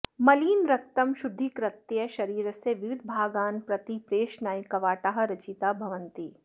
मलिनरक्तं शुद्धीकृत्य शरीरस्य विविधभागान् प्रति प्रेषणाय कवाटाः रचिताः भवन्ति